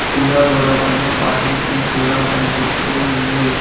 కింద గోడ పైన పార్కింగ్ అని కూడా కనిపిస్తూ ఉంది.